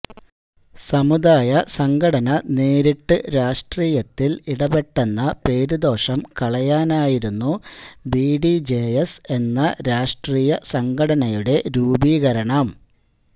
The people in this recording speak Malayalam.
സമുദായ സംഘടന നേരിട്ട് രാഷ്ട്രീയത്തില് ഇടപെട്ടെന്ന പേരുദോഷം കളയാനായിരുന്നു ബി ഡി ജെ എസ് എന്ന രാഷ്ട്രീയ സംഘടനയുടെ രൂപീകരണം